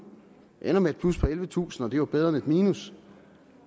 det ender med et plus på ellevetusind og det er jo bedre end et minus